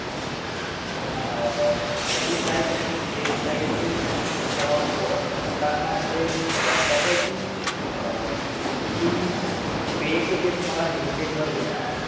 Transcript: आह खरी site आणि fake site आह ओळखताना म्हणजे आह कसं आहे कि आह mostly जे तुम्हाला Linkdin वर येणार